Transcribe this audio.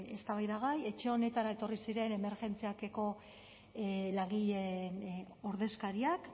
eztabaidagai etxe honetara etorri ziren emergentziak eko langileen ordezkariak